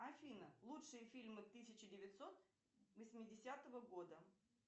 афина лучшие фильмы тысяча девятьсот восьмидесятогл года